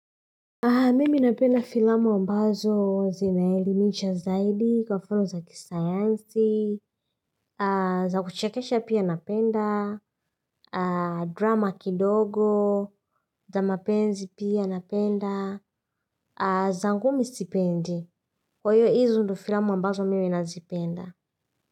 Mimi napenda filamu ambazo zinaelimisha zaidi kwa mfano za kisayansi za kuchekesha pia napenda drama kidogo za mapenzi pia napenda za ngumi sipendi kwa hizo ndo filamu ambazo mimi na zipenda.